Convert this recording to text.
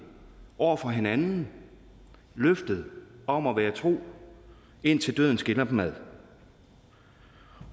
over for hinanden løftet om at være tro indtil døden skiller dem ad